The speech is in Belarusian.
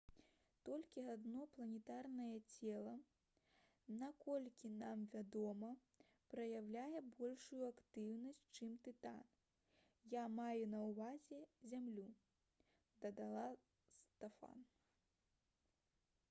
«толькі адно планетарнае цела наколькі нам вядома праяўляе большую актыўнасць чым тытан — я маю на ўвазе зямлю» — дадала стофан